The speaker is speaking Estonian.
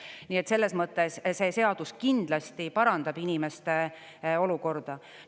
Nii et selles mõttes see seadus kindlasti parandab inimeste olukorda.